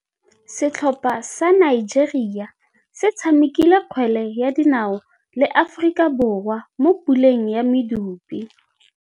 Setlhopha sa Nigeria se tshamekile kgwele ya dinaô le Aforika Borwa mo puleng ya medupe.